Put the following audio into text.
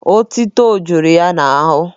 Otuto jụrụ ya n'ahụ.